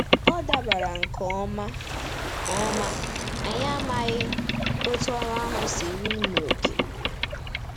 Ọ dabara nke ọma, ọma, anyị amaghị etu ọrụ ahụ siruru n'oke.